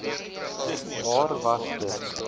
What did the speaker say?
waar was dit